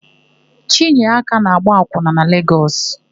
Chinyeaka na-agba akwụna na Legọs.